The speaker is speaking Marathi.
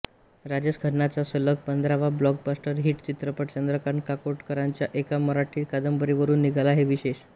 राजेश खन्नाचा सलग पंधरावा ब्लॉकबस्टर हिट् चित्रपट चंद्रकांत काकोडकरांच्या एका मराठी कादंबरीवरून निघाला हे विशॆष